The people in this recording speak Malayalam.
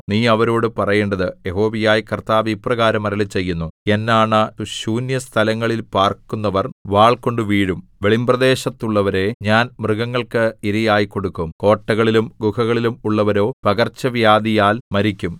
നീ അവരോടു പറയേണ്ടത് യഹോവയായ കർത്താവ് ഇപ്രകാരം അരുളിച്ചെയ്യുന്നു എന്നാണ ശൂന്യസ്ഥലങ്ങളിൽ പാർക്കുന്നവർ വാൾകൊണ്ടു വീഴും വെളിമ്പ്രദേശത്തുള്ളവരെ ഞാൻ മൃഗങ്ങൾക്ക് ഇരയായി കൊടുക്കും കോട്ടകളിലും ഗുഹകളിലും ഉള്ളവരോ പകർച്ചവ്യാധിയാൽ മരിക്കും